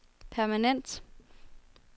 permanent